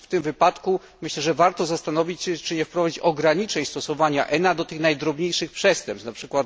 W tym wypadku myślę, że warto się zastanowić, czy nie wprowadzić ograniczeń stosowania ENA do tych najdrobniejszych przestępstw, np.